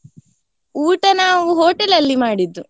ಊಟ ನಾವು ಹೊಟೇಲಲ್ಲಿ ಮಾಡಿದ್ದು.